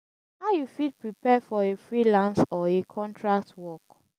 how you fit prepare for a freelance or a contract work?